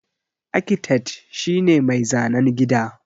Akitet shi ne mai zanan gini.